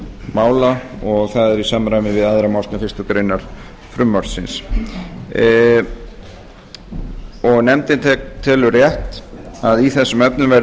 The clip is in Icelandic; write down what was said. mála og það er í samræmi við aðra málsgrein fyrstu grein frumvarpsins nefndin telur rétt að í þessum efnum verði